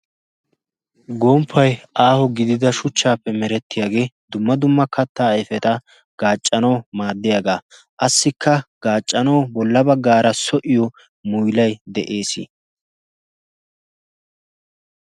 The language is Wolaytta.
gomppai aaho gidida shuchchaappe merettiyaagee dumma dumma kattaa aifeta gaaccanwu maaddiyaagaa assikka gaaccana bolla baggaara so7iyo muilai de7ees.